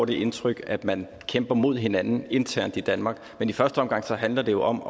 det indtryk at man kæmper mod hinanden internt i danmark men i første omgang handler det jo om